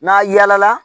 N'a yala